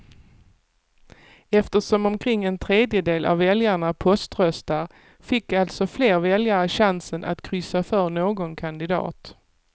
Eftersom omkring en tredjedel av väljarna poströstar fick alltså fler väljare chansen att kryssa för någon kandidat.